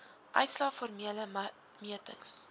uitslae formele metings